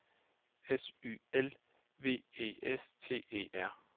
S Y L V E S T E R